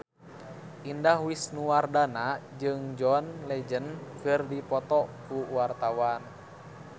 Indah Wisnuwardana jeung John Legend keur dipoto ku wartawan